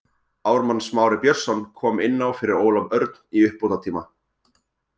Ármann Smári Björnsson kom inná fyrir Ólaf Örn í uppbótartíma.